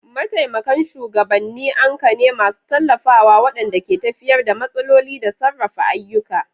Mataimakan shugabanni anka ne masu tallafawa waɗanda ke tafiyar da matsaloli da sarrafa ayyuka.